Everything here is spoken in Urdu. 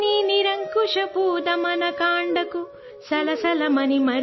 انگریزوں کے انصاف سے عاری بے لگام جبرو استحصال کو دیکھ